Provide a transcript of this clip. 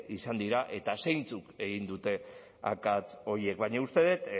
izan diren eta zeintzuk egin duten akats horiek baina uste dut